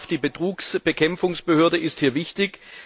OLAF, die Betrugsbekämpfungsbehörde, ist hier wichtig.